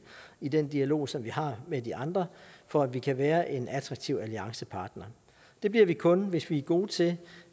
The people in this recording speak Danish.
i den dialog som vi har med de andre for at vi kan være en attraktiv alliancepartner det bliver vi kun hvis vi er gode til